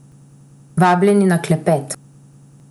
Vabljeni na klepet!